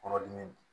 Kɔnɔdimi